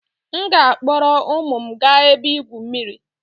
m ga-akpọrọ ụmụ m gaa ebe igwu mmiri